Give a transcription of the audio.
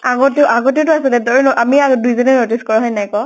আগতেও, আগতে তো আছিলে, তই, আমি আৰু দুইজনেই notice কৰোঁ, হয় নাই ক?